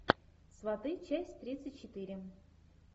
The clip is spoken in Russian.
сваты часть тридцать четыре